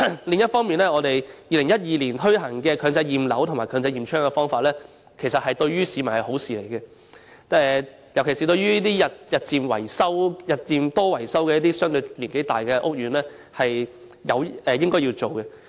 另一方面，在2012年推行的強制驗樓和強制驗窗的計劃，其實對市民而言是好事，尤其是對於該等日久失修、樓齡相對較高的屋苑，這是應有的做法。